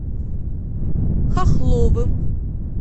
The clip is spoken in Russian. хохловым